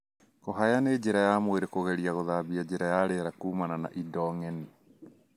Kũhaya nĩ njĩra ya mwĩrĩ kũgeria gũthambia njĩra ya rĩera kumana na indo ngeni.